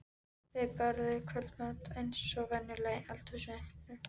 Þau borðuðu kvöldmat eins og venjulega í eldhúsinu.